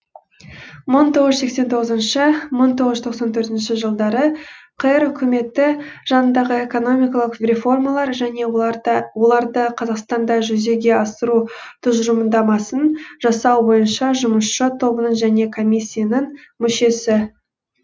мың тоғыз жүз сексен тоғызыншы мың тоғыз жүз тоқсан төртінші жылдары қр үкіметі жанындағы экономикалық реформалар және оларды қазақстанда жүзеге асыру тұжырымдамасын жасау бойынша жұмысшы тобының және коммиссиясының мүшесі